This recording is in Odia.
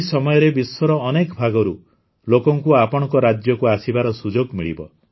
ଏହି ସମୟରେ ବିଶ୍ୱର ଅନେକ ଭାଗରୁ ଲୋକଙ୍କୁ ଆପଣଙ୍କ ରାଜ୍ୟକୁ ଆସିବାର ସୁଯୋଗ ମିଳିବ